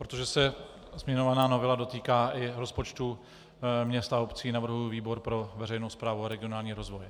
Protože se zmiňovaná novela dotýká i rozpočtů měst a obcí, navrhuji výbor pro veřejnou správu a regionální rozvoj.